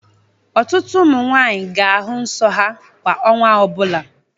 Ọtụtụ ụmụ nwaanyị ga-ahù nso ha kwa ọnwa ọbụla.